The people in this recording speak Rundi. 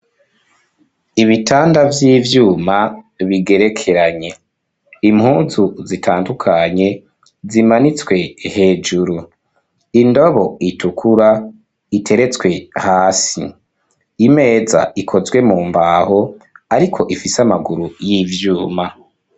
Ibitanda vy'ivyuma bigerekeranye, impunzu zitandukanye zimanitswe hejuru, indobo itukura iteretswe hasi, imeza ikozwe mu mbaho ariko ifise amaguru y'ivyuma.